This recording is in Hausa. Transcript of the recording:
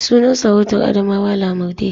Sunan sarautar Adamawa Lamurɗe.